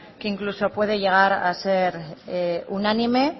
que incluso puede llegar a ser unánime